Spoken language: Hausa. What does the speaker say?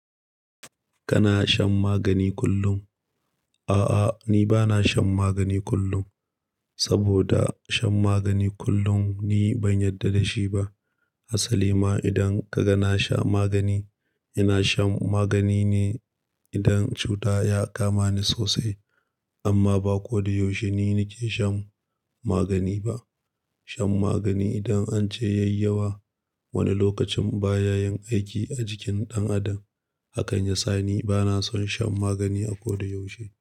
Kana shan magani kullum? A'a, ni ba na shan magani kullum, saboda shan magani kullum ni ban yarda da shi ba. Asali ma idan ka ga na sha magani, ina shan magani ne idan cuta ya kama ni sosai. Amma ba ko da yaushe ni nake shan magani ba. Shan magani idan an ce yai yawa, wani lokacin baya yin aiki a jikin ɗan adam. Hakan ya sa ni ba na son shan magani a ko da yaushe.